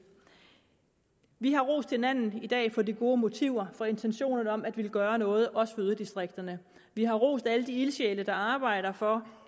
vi har rost hinanden i dag for de gode motiver for intentionerne om at ville gøre noget også for yderdistrikterne vi har rost alle de ildsjæle der arbejder for